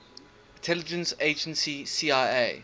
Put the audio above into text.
intelligence agency cia